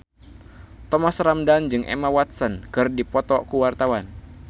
Thomas Ramdhan jeung Emma Watson keur dipoto ku wartawan